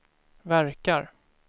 verkar